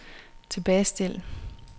tilbagestil